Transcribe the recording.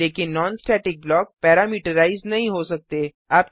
लेकिन non static block parameterize नहीं हो सकते